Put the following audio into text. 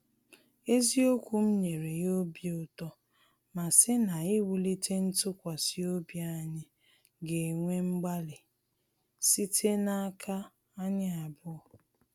Eziokwu m nyere ya obi uto ma sị na iwulite ntụkwasị obi anyi ga-ewe mgbalị site n’aka anyị abụọ